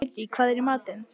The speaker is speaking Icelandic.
Hædý, hvað er í matinn?